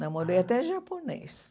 Namorei até japonês.